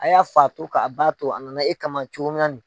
A y'a fa to k'a ba to a nana e kama cogo min